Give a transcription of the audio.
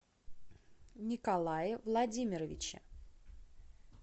николае владимировиче